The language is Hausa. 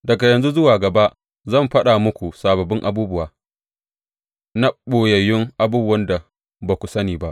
Daga yanzu zuwa gaba zan faɗa muku sababbin abubuwa, na ɓoyayyun abubuwan da ba ku sani ba.